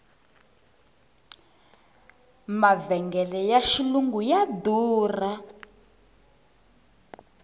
mavhengele ya xilungu ya durha